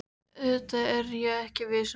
Auðvitað er ég viss um það.